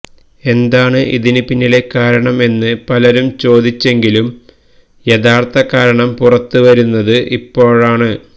എന്താണ് ഇതിന് പിന്നിലെ കാരണം എന്ന് പലരും ചോദിച്ചെങ്കിലും യഥാർത്ഥ കാരണം പുറത്ത് വരുന്നത് ഇപ്പോഴാണ്